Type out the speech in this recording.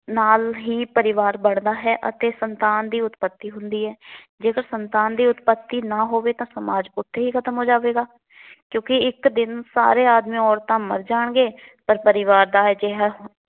ਨਾਲ ਹੀ ਪਰਿਵਾਰ ਬੱਡਦਾ ਹੈ ਅਤੇ ਸੰਤਾਨ ਦੀ ਉੱਤਪੱਤੀ ਹੁੰਦੀ ਹੈ। ਜੇਕਰ ਸੰਤਾਨ ਦੀ ਉਤਪੱਤੀ ਨਾ ਹੋਵੇ ਤਾਂ ਸਮਾਜ ਉੱਥੇ ਹੀ ਖਤਮ ਹੋ ਜਾਵੇਗਾ ਕਿਉਂਕਿ ਇਕ ਦਿਨ ਸਾਰੇ ਆਦਮੀ ਅੋਰਤਾਂ ਮਰ ਜਾਣਗੇ। ਪਰ ਪਰਿਵਾਰ ਦਾ ਅਜਿਹਾ